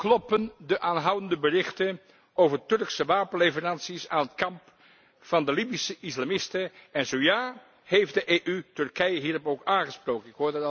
Kloppen de aanhoudende berichten over Turkse wapenleveranties aan het kamp van de Libische islamisten en zo ja, heeft de EU Turkije hierop aangesproken?